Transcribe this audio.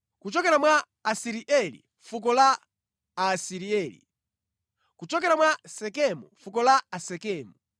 kuchokera mwa Asirieli, fuko la Aasirieli; kuchokera mwa Sekemu, fuko la Asekemu;